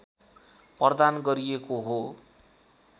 प्रदान गरिएको हो